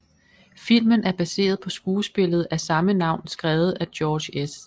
Filmen er baseret på skuespillet af samme navn skrevet af George S